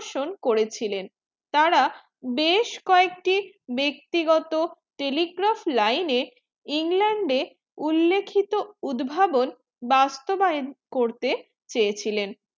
শোন্ করেছিলেন তারা বেশ কি একটি ব্যক্তিগত telegraph line এ england এ উল্লেখিত উদ্ভাবন বাস্তবায়য়ান করতে চেয়ে ছিলেন